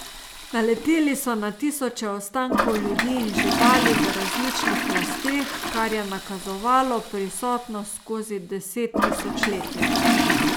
Naleteli so na tisoče ostankov ljudi in živali v različnih plasteh, kar je nakazovalo prisotnost skozi desettisočletja.